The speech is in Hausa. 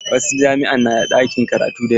Wasu jami'a na da ɗakin karatu da yawa.